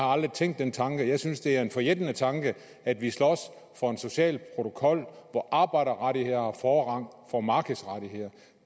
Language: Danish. aldrig tænkt den tanke jeg synes at det er en forjættende tanke at vi slås for en social protokol hvor arbejderrettigheder har forrang for markedsrettigheder